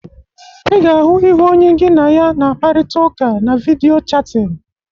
Ị ga-ahụ ihu onye gị na ya na-akparịta ụka na vidiyo chatin.